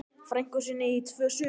frænku sinni í tvö sumur.